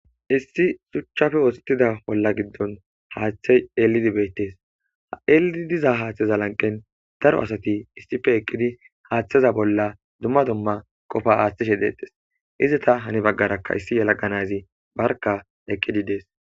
Issi suchchafe oosettida bolla giddon haaththe yelidi beettes ha'elii diza haaththeza lanqen daro asati issife eqqidi haaththeza bolla dumma dumma qofa aaththeshe deetes iza ta hani baggarakka issi yalaganazi barka eqqidi dees.